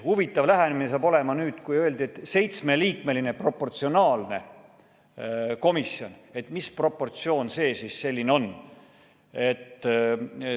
Huvitav lähenemine hakkab olema nüüd: kui öeldi, et tuleb seitsmeliikmeline proportsionaalne komisjon, siis mis proportsioon see selline on?